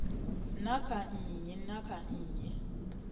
na kha nnyi na nnyi